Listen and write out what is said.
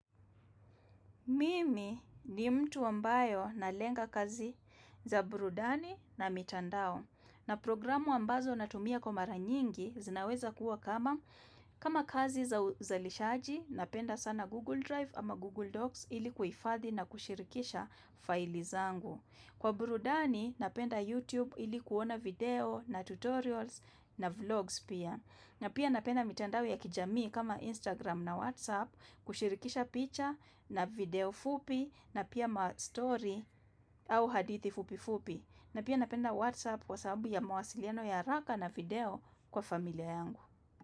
Mimi ni mtu ambaye nalenga kazi za burudani na mitandao na programu ambazo natumia kwa mara nyingi zinaweza kuwa kama kazi za uzalishaji napenda sana Google Drive ama Google Docs ili kuifadhi na kushirikisha faili zangu. Kwa burudani, napenda YouTube ili kuona video na tutorials na vlogs pia. Na pia napenda mitandao ya kijamii kama Instagram na WhatsApp kushirikisha picture na video fupi na pia mastory au hadithi fupi fupi. Na pia napenda WhatsApp kwa sababu ya mawasiliano ya haraka na video kwa familia yangu.